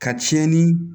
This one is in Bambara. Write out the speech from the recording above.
Ka cɛnni